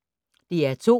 DR2